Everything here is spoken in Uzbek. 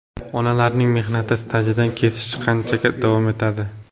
Onalarning mehnat stajidan kesish qachongacha davom etadi?